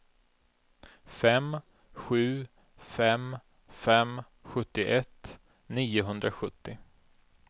fem sju fem fem sjuttioett niohundrasjuttio